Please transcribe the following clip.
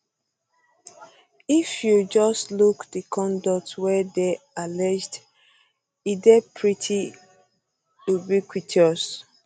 if you just look di conduct wey dey alleged alleged e dey pretty ubiquitous